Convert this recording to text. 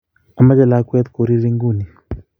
Amche lakwet koriri nguni